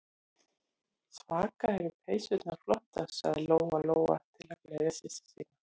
Svaka eru peysurnar flottar, sagði Lóa-Lóa til að gleðja systur sína.